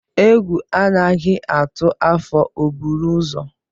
Egwu anaghị atụ afọ o buru ụzọ.